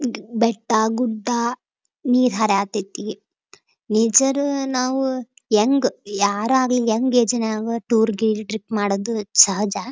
ಈದ್ ಬೆಟ್ಟ ಗುಡ್ಡ ನೀರ್ ಹರಿಯತೈತಿ ನೇಚರ್ ನಾವು ಹೆಂಗ್ ಯಾರ ಆಗ್ಲಿ ಯಂಗ್ ಏಜ್ ನವರು ಟೂರ್ ಗೀರ್ ಮಾಡೋದು ಸಹಜ.